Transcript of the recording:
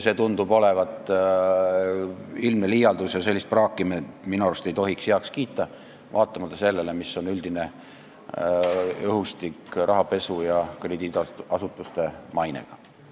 See tundub olevat ilmne liialdus ja sellist praaki me minu arust ei tohiks heaks kiita, vaatamata sellele, mis on üldine õhustik, mõeldes rahapesule ja krediidiasutuste mainele.